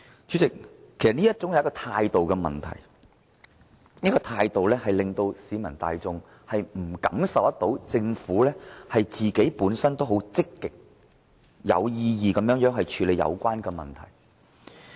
主席，其實這是一種態度問題，這種態度令市民感受不到政府會積極有為地處理問題。